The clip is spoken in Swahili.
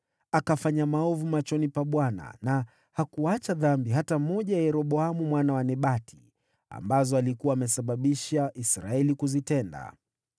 Akafanya maovu machoni pa Bwana , na hakuacha dhambi hata moja ya Yeroboamu mwana wa Nebati, ambazo alikuwa amesababisha Israeli kuzitenda.